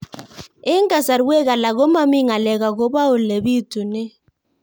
Eng' kasarwek alak ko mami ng'alek akopo ole pitunee